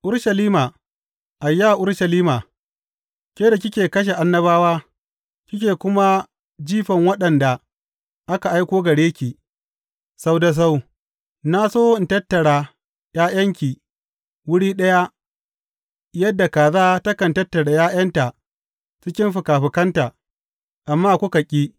Urushalima, ayya Urushalima, ke da kike kashe annabawa, kike kuma jifan waɗanda aka aiko gare ki, sau da sau na so in tattara ’ya’yanki wuri ɗaya, yadda kaza takan tattara ’ya’yanta cikin fikafikanta, amma kuka ƙi.